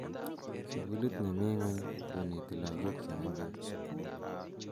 Suukulit ne mii ngony koneti lagok che menkech